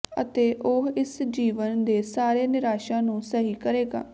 ਅਤੇ ਉਹ ਇਸ ਜੀਵਨ ਦੇ ਸਾਰੇ ਨਿਰਾਸ਼ਾ ਨੂੰ ਸਹੀ ਕਰੇਗਾ